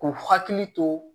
K'u hakili to